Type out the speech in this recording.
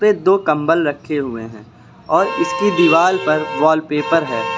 पे दो कंबल रखे हुए हैं और इसकी दीवाल पर वॉलपेपर है।